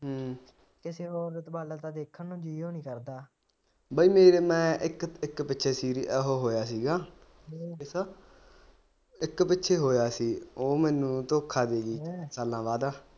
ਬਾਈ ਮੈਂ ਇੱਕ ਪਿੱਛੇ serious ਉਹ ਹੋਇਆ ਸੀਗਾ ਇੱਕ ਪਿੱਛੇ ਹੋਇਆ ਸੀ ਉਹ ਮੈਨੂੰ ਧੋਖਾ ਦੇਗੀ ਸਾਲਾਂ ਬਾਅਦਾ